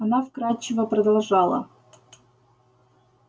она вкрадчиво продолжала